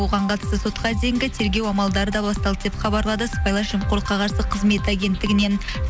оған қатысты сотқа дейінгі тергеу амалдары да басталды деп хабарлады сыбайлас жемқорлыққа қарсы қызмет агенттігінен